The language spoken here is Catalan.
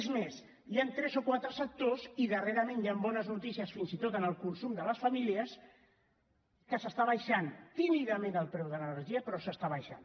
és més hi han tres o quatre sectors i darrerament hi han bones noticies fins i tot en el consum de les famílies en què s’està abaixant tímidament el preu de l’energia però s’està abaixant